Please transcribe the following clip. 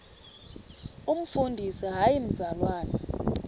umfundisi hayi mzalwana